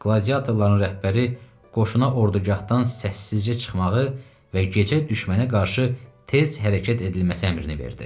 Qladiatorların rəhbəri qoşuna ordugahdan səssizcə çıxmağı və gecə düşmənə qarşı tez hərəkət edilməsi əmrini verdi.